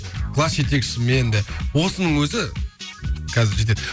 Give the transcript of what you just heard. класс жетекшіммен де осының өзі қазір жетеді